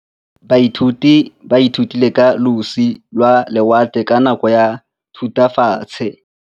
Baithuti ba ithutile ka losi lwa lewatle ka nako ya Thutafatshe.